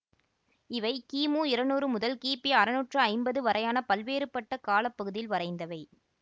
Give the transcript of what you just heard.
இவை கிமு இருநூறு முதல் கிபி அறநூற்று ஐம்பது வரையான பல்வேறுபட்ட கால பகுதியில் வரைந்தவை